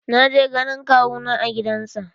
Na je ganin kawu na a gidan sa.